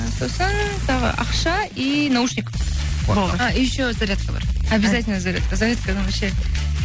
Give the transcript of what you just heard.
ы сосын тағы ақша и наушник болды а еще зарядка бар объязательно зарядка зарядканы вообще